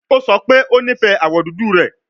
O sọ pe o nifẹ awọ dudu rẹ